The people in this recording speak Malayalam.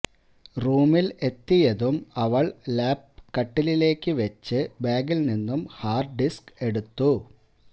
റൂമിൽ എത്തിയതും അവള് ലാപ് കട്ടിലിലേക്ക് വെച്ച് ബാഗിൽ നിന്നും ഹാർഡ് ഡിസ്ക് എടുത്തു